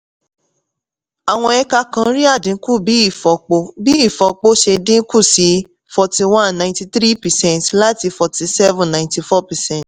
àwọn ẹka kan rí àdínkù bí ìfọpo bí ìfọpo se dín kù sí forty-one ninety-three percent láti forty-seven ninety-four percent